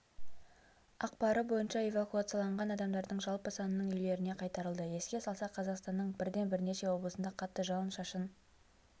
ақпары бойынша эвакуацияланған адамдардың жалпы санының үйлеріне қайтарылды еске салсақ қазақстанның бірден бірнеше облысында қатты жауын-шашын